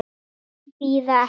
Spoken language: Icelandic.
Þeir bíða ekki.